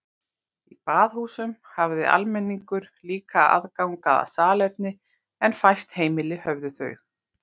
Í baðhúsunum hafði almenningur líka aðgang að salerni en fæst heimili höfðu þau.